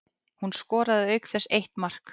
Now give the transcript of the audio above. Hún skoraði auk þess eitt mark